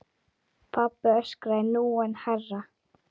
Sölvi yppti öxlum.